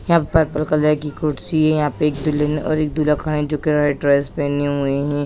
यहाँ purple colour की कुर्सी है यहाँ पर एक दुल्हन और दूल्हा खड़े है जो कि म रेड ड्रेस पहने हुए है।